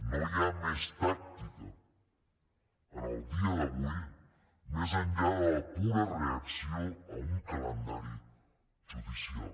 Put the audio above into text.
no hi ha més tàctica en el dia d’avui més enllà de la pura reacció a un calendari judicial